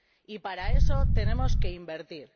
Y para eso tenemos que invertir